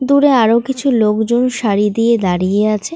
দূরে আরো কিছু লোকজন সারি দিয়ে দাঁড়িয়ে আছে।